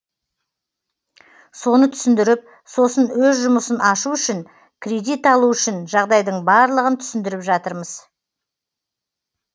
соны түсіндіріп сосын өз жұмысын ашу үшін кредит алу үшін жағдайдың барлығын түсіндіріп жатырмыз